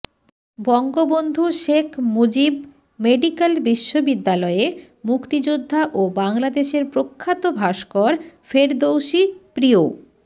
Bangabandhu Sheikh Mujib medical বিশ্ববিদ্যালয়ে মুক্তিযোদ্ধা ও বাংলাদেশের প্রখ্যাত ভাস্কর ফেরদৌসী প্রিয়